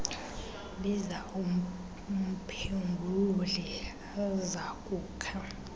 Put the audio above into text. biza umphengululi azokukha